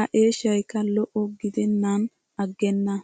A eeshshaykka lo'o gidennan aggena!